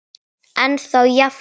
Ennþá jafn ljótur.